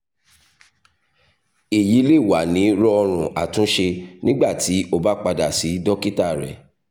eyi le wa ni rọọrun atunṣe nigbati o ba pada si dokita rẹ